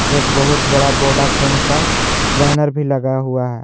एक बहुत बड़ा वोडाफोन का बैनर भी लगा हुआ है।